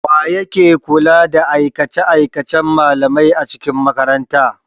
Wa yake kula da aikace-aikacen malamai a cikin makaranta?